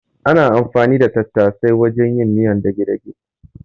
Ana anfani da tattasai wajen yin miyar dage-dage.